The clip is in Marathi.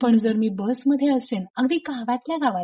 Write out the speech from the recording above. पण जर मी बस मध्ये असेल अगदी गावातल्या गावात